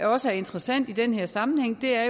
også er interessant i den her sammenhæng er